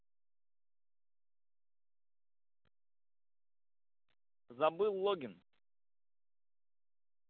забыл логин